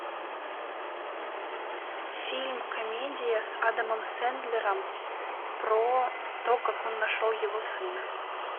фильм комедия с адамом сэндлером про то как он нашел его сына